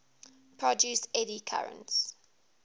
produce eddy currents